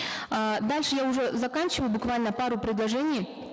э дальше я уже заканчиваю буквально пару предложений